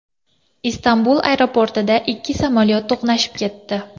Istanbul aeroportida ikki samolyot to‘qnashib ketdi.